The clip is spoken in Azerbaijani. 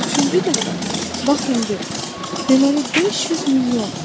Üçüncü dəfə, bax indi, deməli, 500 milyon.